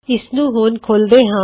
ਇਸਨੂੰ ਹੁਣ ਖੋਲਦੇ ਹਾਂ